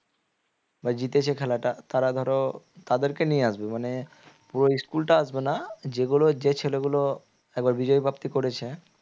বা জিতেছে খেলাটা তারা ধরো তাদেরকে নিয়ে আসবে মানে পুরো school টা আসবেনা যেগুলো যে ছেলেগুলো একবার বিজয় প্রাপ্তি করেছে